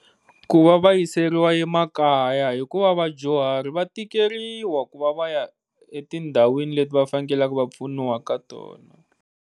Ku va va yiseriwa makaya hikuva vadyuharhi va tikeriwa ku va va ya etindhaweni leti va fanekele va pfuniwa ka tona.